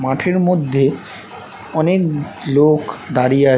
মাঠের মধ্যে অনেক লোক দাঁড়িয়ে আ--